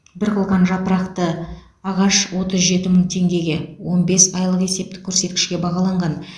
бір қылқан жапырақты ағаш отыз жеті мың теңгеге он бес айлық есептік көрсеткішке бағаланған